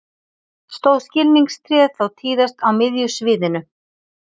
Stóð skilningstréð þá tíðast á miðju sviðinu.